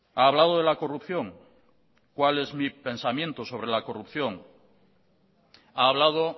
ha hablado de la corrupción cuál es mi pensamiento sobre la corrupción ha hablado